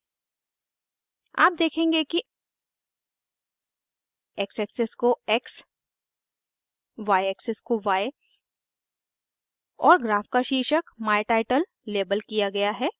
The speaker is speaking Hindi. आप देखेंगे कि x एक्सिस को x y axis को y और ग्राफ का शीर्षक my title my title label किया गया है